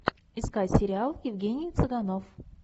искать сериал евгений цыганов